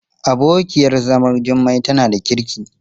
Jummai's co- wife is a good woman.